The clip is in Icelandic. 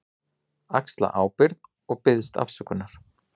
Axla ábyrgð og biðst afsökunar.